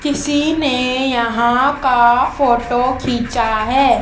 किसी ने यहां का फोटो खींचा है।